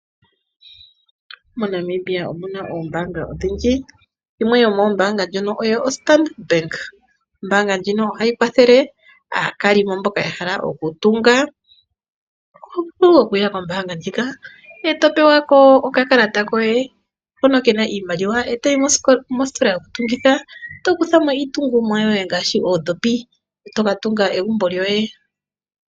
Mo Namibia omuna oombaanga odhindji, yimwe yomoombaanga ndjono oyo Standard Bank. Ombaanga ndjino ohayi kwathele aakalimo mboka ya hala okutunga, ohovulu okuya kombaanga ndjika e to pewako okakalata koye hono kena iimaliwa e toyi mositola yokutungitha, tokuthamo iitungomwa yoye ngaashi oondhopi, tokatunga egumbo lyoye.